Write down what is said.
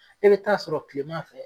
E be taa sɔrɔ kilema fɛ